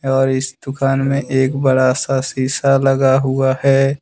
और इस दुकान में एक बड़ा सा शीशा लगा हुआ है।